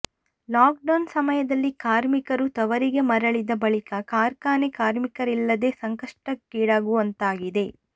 lock down ಸಮಯದಲ್ಲಿ ಕಾರ್ಮಿಕರು ತವರಿಗೆ ಮರಳಿದ ಬಳಿಕ ಕಾರ್ಖಾನೆ ಕಾರ್ಮಿಕರಿಲ್ಲದೇ ಸಂಕಷ್ಟಕ್ಕೀಡಾಗುವಂತಾಗಿದೆ